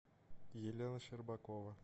елена щербакова